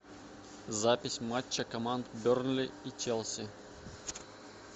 запись матча команд бернли и челси